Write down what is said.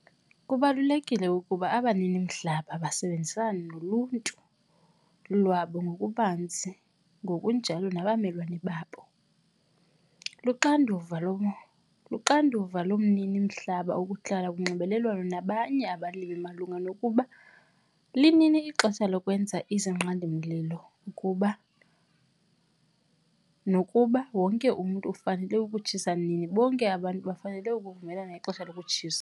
Kubalulekile ukuba abanini-mihlaba basebenzisane noluntu lwabo ngokubanzi ngokujalo nabamelwane babo. Luxanduva lo luxanduva lomnini-mhlaba ukuhlala kunxibelelwano nabanye abalimi malunga nokuba linini ixesha lokwenza izinqandi-mlilo kuba nokuba wonke umntu ufanele ukutshisa nini. Bonke abantu bafanele ukuvumelana ngexesha lokutshisa.